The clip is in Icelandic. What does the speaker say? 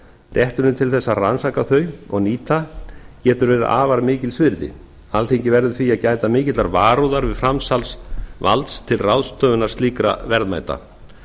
rétturinn til þess að rannsaka þau og nýta getur verið afar mikils virði alþingi verður því að gæta mikillar varúðar við framsals valds til ráðstöfunar slíkra verðmæta